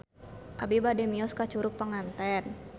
Abi bade mios ka Curug Panganten